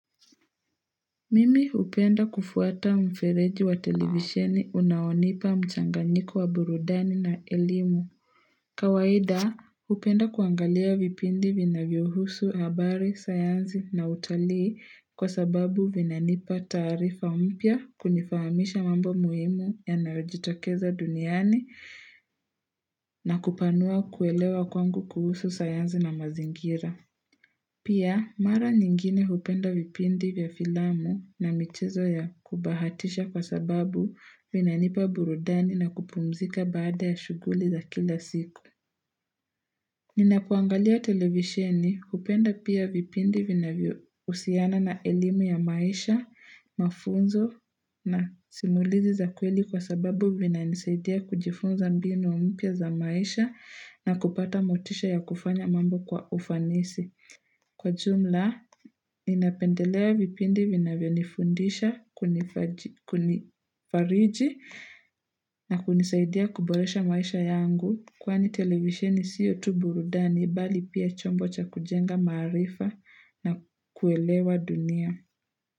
Mimi hupenda kufuata mfereji wa televisheni unaonipa mchanganyiko wa burudani na elimu. Kawaida hupenda kuangalia vipindi vinavyohusu habari, sayansi na utalii kwa sababu vinanipa tarifa mpya kunifahamisha mambo muhimu yanayo jitokeza duniani na kupanua kuelewa kwangu kuhusu sayanzi na mazingira. Pia, mara nyingine hupenda vipindi vya filamu na michezo ya kubahatisha kwa sababu vinanipa burudani na kupumzika baada ya shuguli za kila siku. Ninapoangalia televisheni hupenda pia vipindi vinavyohusiana na elimu ya maisha, mafunzo na simulizi za kweli kwa sababu vina nisaidia kujifunza mbinu mpya za maisha na kupata motisha ya kufanya mambo kwa ufanisi. Kwa jumla, ninapendelea vipindi vinavyo nifundisha, kunifariji na kunisaidia kuboresha maisha yangu. Kwani televisheni sio tu burudani bali pia chombo cha kujenga marifa na kuelewa dunia.